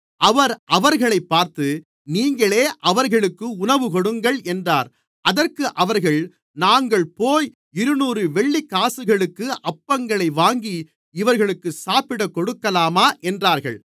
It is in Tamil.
அவர் அவர்களைப் பார்த்து நீங்களே அவர்களுக்கு உணவுகொடுங்கள் என்றார் அதற்கு அவர்கள் நாங்கள்போய் இருநூறு வெள்ளிக்காசுகளுக்கு அப்பங்களை வாங்கி இவர்களுக்குச் சாப்பிடக் கொடுக்கலாமா என்றார்கள்